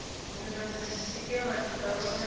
vhu nga swikelela tshikalo tsha